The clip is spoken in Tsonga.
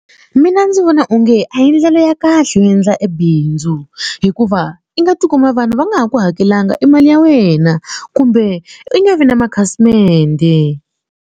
Mina ndzi vona onge a hi ndlela ya kahle yo endla e bindzu hikuva i nga tikuma vanhu va nga ha ku hakelanga e mali ya wena kumbe i nga vi na makhasimende.